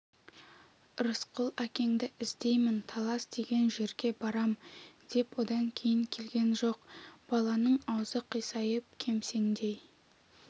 рысқұл әкеңді іздеймін талас деген жерге барам деп одан кейін келген жоқ баланың аузы қисайып кемсеңдей